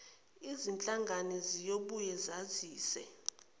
zinhlangano ziyobuye zazise